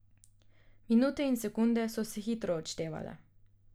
Minute in sekunde so se hitro odštevale.